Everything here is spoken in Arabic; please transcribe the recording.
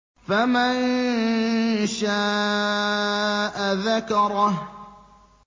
فَمَن شَاءَ ذَكَرَهُ